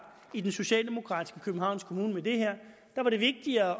i den socialdemokratiske københavns kommune med det her der var det vigtigere at